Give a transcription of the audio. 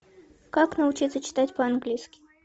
как научиться читать по английски